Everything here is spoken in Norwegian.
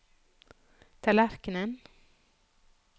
tallerkenen